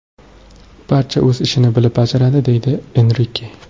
Barcha o‘z ishini bilib bajaradi”, deydi Enrike.